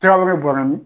Tɛgɛw bɛ bɔra min